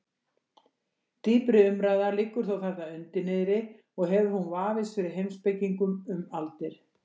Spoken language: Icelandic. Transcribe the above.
Dýpri umræða liggur þó þarna undir niðri og hefur hún vafist fyrir heimspekingum um aldir.